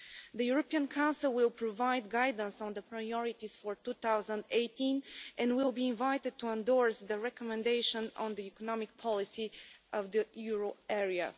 The European Council will provide guidance on the priorities for 2018 and will be invited to endorse the recommendation on the economic policy of the euro area.